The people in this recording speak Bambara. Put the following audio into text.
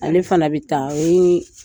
Ale fana bɛ taa, o ye